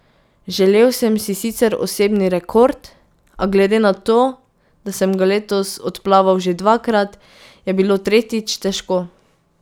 Želel sem si sicer osebni rekord, a glede na to, da sem ga letos odplaval že dvakrat, je bilo tretjič težko.